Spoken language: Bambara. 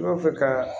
N'a fɛ ka